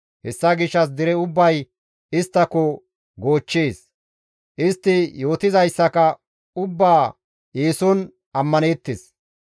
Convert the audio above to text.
Hessa gishshas dere ubbay isttako goochchees; istti yootizayssaka ubbaa eeson ammaneettes.